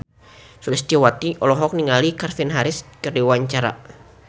Sulistyowati olohok ningali Calvin Harris keur diwawancara